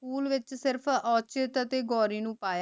school ਵਿਚ ਸਿਰਫ ਔਚਿਤ ਤੇ ਗੌਰੀ ਨੂ ਪਾਯਾ